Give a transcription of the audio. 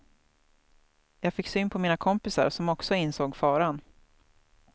Jag fick syn på mina kompisar som också insåg faran.